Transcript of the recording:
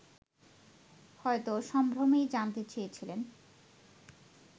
হয়তো সম্ভ্রমেই জানতে চেয়েছিলেন